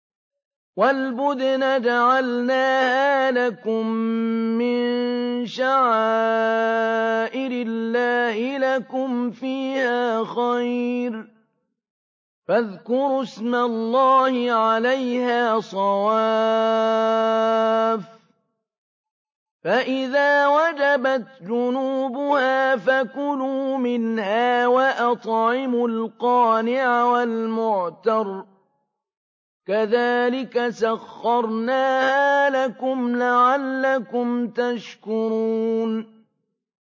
وَالْبُدْنَ جَعَلْنَاهَا لَكُم مِّن شَعَائِرِ اللَّهِ لَكُمْ فِيهَا خَيْرٌ ۖ فَاذْكُرُوا اسْمَ اللَّهِ عَلَيْهَا صَوَافَّ ۖ فَإِذَا وَجَبَتْ جُنُوبُهَا فَكُلُوا مِنْهَا وَأَطْعِمُوا الْقَانِعَ وَالْمُعْتَرَّ ۚ كَذَٰلِكَ سَخَّرْنَاهَا لَكُمْ لَعَلَّكُمْ تَشْكُرُونَ